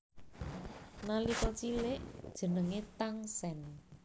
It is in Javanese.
Nalika cilik jenengé Tangsen